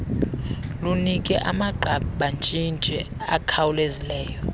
lunike amagqabantshintshi akhawulezileyo